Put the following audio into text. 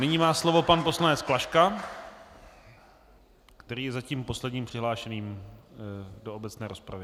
Nyní má slovo pan poslanec Klaška, který je zatím posledním přihlášeným do obecné rozpravy.